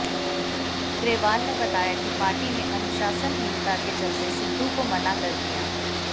ग्रेवाल ने बताया कि पार्टी ने अनुशासनहीनता के चलते सिद्धू को मना कर दिया